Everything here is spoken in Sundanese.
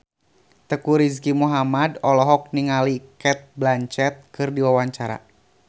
Teuku Rizky Muhammad olohok ningali Cate Blanchett keur diwawancara